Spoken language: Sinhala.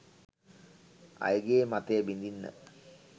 අයගේ මතය බිඳින්න